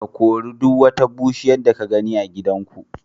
Ka kori duk wata bushiya da ka gani a gidanku.